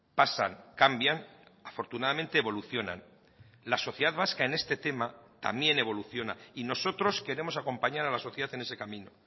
pasan cambian afortunadamente evolucionan la sociedad vasca en este tema también evoluciona y nosotros queremos acompañar a la sociedad en ese camino